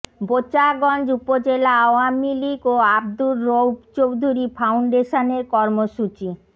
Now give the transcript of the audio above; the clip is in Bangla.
বোচাগঞ্জ উপজেলা আওয়ামী লীগ ও আব্দুর রৌফ চৌধুরী ফাউন্ডেশনের কর্মসূচি